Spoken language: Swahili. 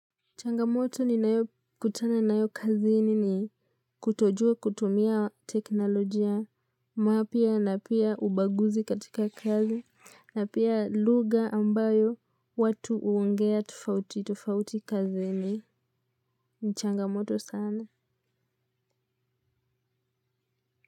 Changamoto ninayo kutana nayo kazini ni kutojua kutumia teknolojia mapya na pia ubaguzi katika kazi na pia lugha ambayo watu huongea tofauti tofauti kazini ni changamoto sana.